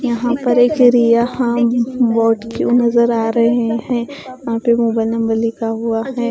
यहां पर एक एरिया यहां बोट क्यों नजर आ रहे हैं? यहां पे मोबाइल नंबर लिखा हुआ है।